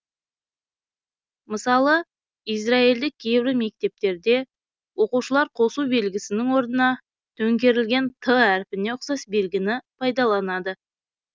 мысалы израильдік кейбір мектептерде оқушылар қосу белгісінің орнына төңкерілген т әрпіне ұқсас белгіні пайдаланады